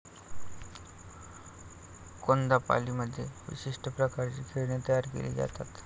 कोन्दापाल्लीमध्ये विशिष्ट प्रकारची खेळणी तयार केली जातात.